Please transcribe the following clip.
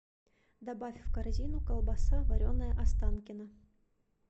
добавь в корзину колбаса вареная останкино